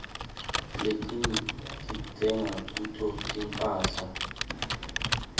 letinyg ditsenga kuto timphahla